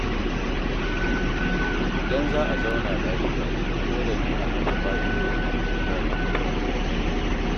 Idan za a zauna lafiya, dole ne a kafa ƙa’idojin gida tun farko.